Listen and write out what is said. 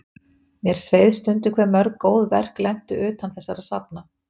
Mér sveið stundum hve mörg góð verk lentu utan þessara safna.